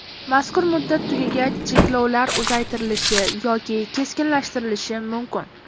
Mazkur muddat tugagach cheklovlar uzaytirilishi yoki keskinlashtirilishi mumkin.